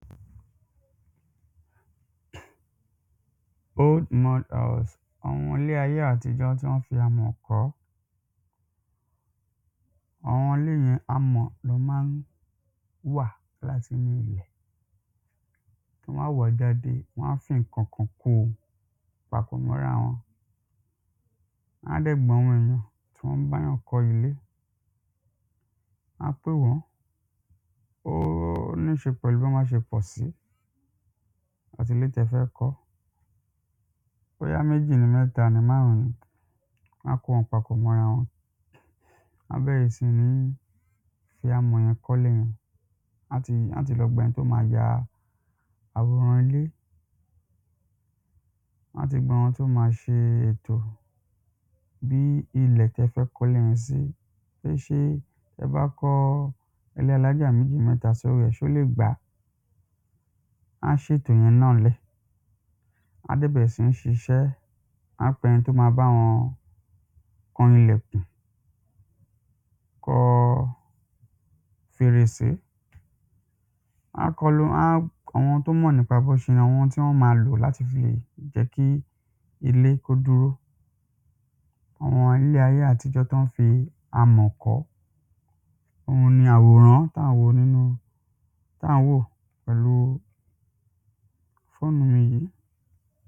old mud house, àwọn ilé ayé àtijọ́ tí wọ́n fi amọ̀ kọ́ àwọn ilé yẹn amọ̀ ná máa ń wà láti inú ilẹ̀ wọ́n á wàá jáde wọ́n á fín ǹkankan ko papọ̀ mọ́ra wọn wọ́n á dẹ̀ gba àwọn èyàn tí wọ́n báyàn kọ́ ilé wọn á pè wọ́n ó níṣe pẹ̀lú bí wọ́n ṣe pọ̀ sí àti ilé tẹfẹ́ kọ́ bóyá méjì ni, mẹ́ta ni, márùn-ún ni, wọ́n á kó wọn papọ̀ mọ́ ara wọn wọ́n á bẹ̀rẹ̀ síní fi amọ̀ yẹn kọ́ ilé yẹn wọ́n á ti lọ gba ẹni tó ma ya àwòrán ilé wọ́n á ti gba àwọn tí ó ma ṣe ètò bí ilẹ̀ tẹfẹ́ kólé yẹn sí pé ṣé tẹbá kọ́ ilé alájà méjì mẹ́ta sórí ẹ̀, pé ṣé ó lè gbá wọ́n á ṣètò yẹn náà lẹ̀, wọ́n á dẹ̀ bẹ̀rẹ̀ síní ṣiṣẹ́ wọ́n á pe ẹni tó ma báwọn kan ilẹ̀kùn kọ́ fèrèsé wọ́n á kọ lo, wọ́n á, àwọn tọ́ mọ̀ nípa bó ṣe àwọn tí wọ́n ma lò láti fi jẹ́ kí ilé kó dúró àwọn ilé ayé àtijọ́ tí wọ́n fi amọ̀ kọ́ òhun ni àwòrán tí à ń wò nínú ta ń wò pẹ̀lú fónù mi yìí.